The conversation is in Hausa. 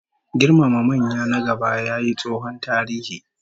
Girmama manya na gaba yayi tsohon tarihi